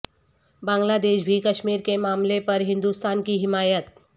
بنگلہ دیش بھی کشمیر کے معاملے پر ہندوستان کی حمایت